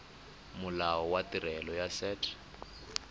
molao wa tirelo ya set